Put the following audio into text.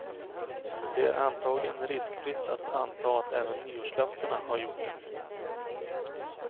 Det är antagligen riskfritt att anta att även nyårslöftena har gjort det.